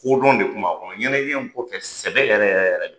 Kodɔn de kun b'a kɔnɔ ɲɛnajɛ sɛbɛ sɛbɛ yɛrɛ yɛrɛ yɛrɛ